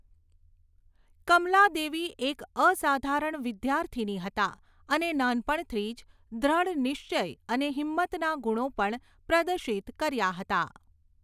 કમલાદેવી એક અસાધારણ વિદ્યાર્થિની હતાં અને નાનપણથી જ દૃઢનિશ્ચય અને હિંમતના ગુણો પણ પ્રદર્શિત કર્યાં હતાં.